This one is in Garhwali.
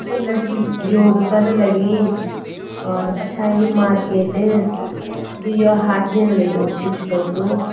य लड़की योग कन लगीं और पछा यू मार्किट यु यो हाथ दीण लग्युं उच्छ उच्छ कई को।